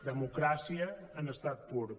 democràcia en estat pur